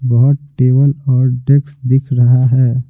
बहुत टेबल और डेक्स दिख रहा है।